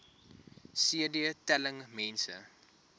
cd telling mense